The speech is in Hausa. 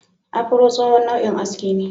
Afuro tsohon nau'in aski ne.